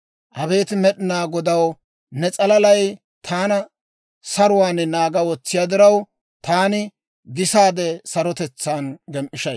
Abeet Med'inaa Godaw, ne s'alalay taana saruwaan naaga wotsiyaa diraw, taani gisaade sarotetsaan gem"ishshay.